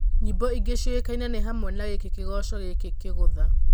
Nyĩmbo ingĩ ciũĩkaine nĩ hamwe na gĩkĩ kĩgoco gĩkĩ kĩgũtha.